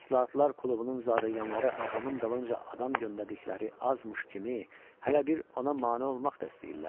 İslahatlar klubunun zadəganları ağamın dalınca adam göndərdikləri azmış kimi hələ bir ona mane olmaq da istəyirlər?